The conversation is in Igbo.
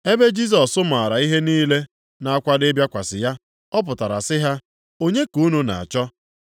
Ebe Jisọs maara ihe niile na-akwado ịbịakwasị ya, ọ pụtara sị ha, “Onye ka unu na-achọ?”